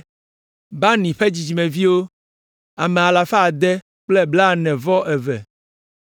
Bani ƒe dzidzimeviwo, ame alafa ade kple blaene-vɔ-eve (642).